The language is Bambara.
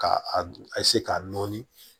Ka a k'a nɔɔni